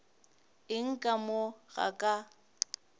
eng ka mo ga ka